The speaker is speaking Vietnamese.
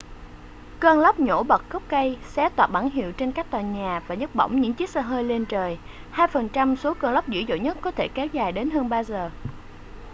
cơn lốc nhổ bật gốc cây xé toạc bảng hiệu trên các tòa nhà và nhấc bổng những chiếc xe hơi lên trời hai phần trăm số cơn lốc dữ dội nhất có thể kéo dài đến hơn ba giờ